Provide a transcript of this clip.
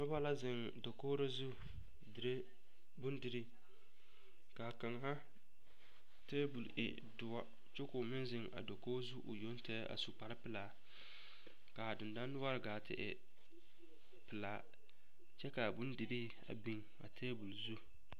Noba la zeŋ dakogiri zu dire bondirii k'a kaŋa teebol e doɔ kyɛ k'o meŋ zeŋ a dakogi zu o yoŋ tɛgɛ a su kpare pelaa k'a dendɔnore gaa te e pelaa kyɛ k'a bondirii biŋ a teebol zu.